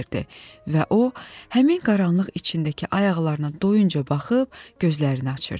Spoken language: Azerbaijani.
və o, həmin qaranlıq içindəki ayaqlarına doyunca baxıb, gözlərini açırdı.